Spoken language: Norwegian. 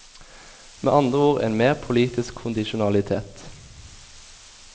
Med andre ord en mer politisk kondisjonalitet.